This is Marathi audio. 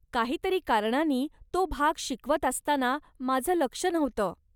काहीतरी कारणानी तो भाग शिकवत असताना माझं लक्ष नव्हतं.